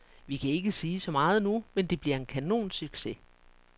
Vi kan ikke sige så meget nu, men det bliver en kanonsucces.